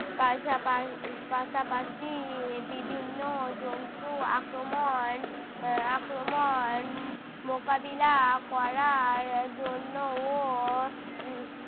পাশাপা~ উহ পাশাপাশি বিভিন্ন জন্তু আক্রমণ আহ আক্রমণ উহ মোকাবিলা করার জন্যও উহ